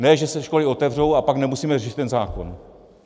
Ne že se školy otevřou, a pak nemusíme řešit ten zákon.